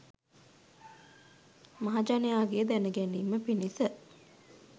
මහජනයාගේ දැන ගැනීම පිණිස